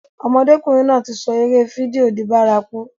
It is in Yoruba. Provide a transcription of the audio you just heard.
Ọmọdékùnrin náà ti sọ eré fídíò di bárakú.